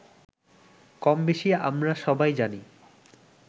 কমবেশি আমরা সবাই জানি